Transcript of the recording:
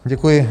Děkuji.